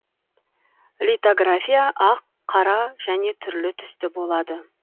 литография ақ қара және түрлі түсті болады